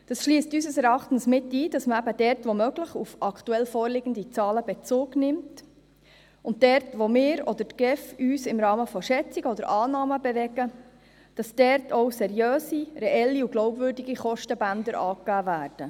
Das schliesst unseres Erachtens mit ein, dass man dort, wo möglich, auf aktuell vorliegende Zahlen Bezug nimmt, und dort, wo wir oder die GEF uns im Rahmen von Schätzungen oder Annahmen bewegen, auch seriöse, reelle und glaubwürdige Kostenbänder angibt.